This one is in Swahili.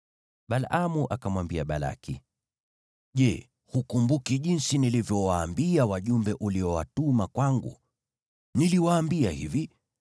Balaamu akamwambia Balaki, “Je, hukumbuki jinsi nilivyowaambia wajumbe uliowatuma kwangu? Niliwaambia hivi,